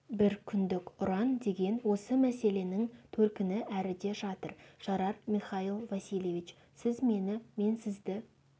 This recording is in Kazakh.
бір күндік ұран деген осы мәселенің төркіні әріде жатыр жарар михаил васильевич сіз мені мен сізді